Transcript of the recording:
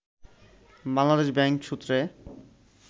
Bangladesh bank সূত্রে